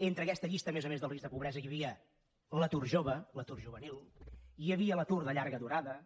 entre aquesta llista a més a més del risc de pobresa hi havia l’atur jove l’atur juvenil hi havia l’atur de llarga durada